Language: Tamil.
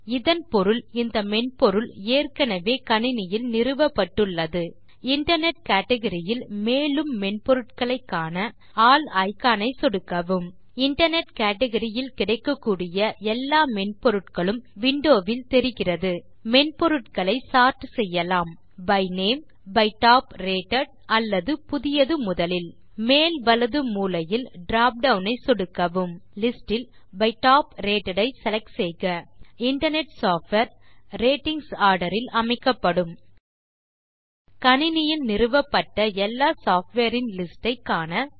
இதன் பொருள் இந்த மென்பொருள் ஏற்கெனவே கணினியில் நிறுவப்பட்டுள்ளது இன்டர்நெட் கேட்கரி இல் மேலும் மென்பொருட்களை காண ஆல் இக்கான் ஐ சொடுக்கவும் இன்டர்நெட் கேட்கரி இல் கிடைக்கக்கூடிய எல்லா மென்பொருட்களும் விண்டோவில் தெரிகிறது மென்பொருட்களை சோர்ட் செய்யலாம் by name by top rated அல்லது புதியது முதலில் மேல் வலது மூலையில் drop டவுன் ஐ சொடுக்கவும் லிஸ்ட் இல் பை டாப் ரேட்டட் ஐ செலக்ட் செய்க இன்டர்நெட் சாஃப்ட்வேர் ratings ஆர்டர் இல் அமைக்கப்படும் கணினியில் நிறுவப்பட்ட எல்லா சாஃப்ட்வேர் இன் லிஸ்ட் ஐ காண